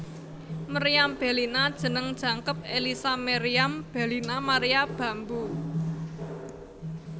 Meriam Bellina jeneng jangkep Ellisa Meriam Bellina Maria Bamboe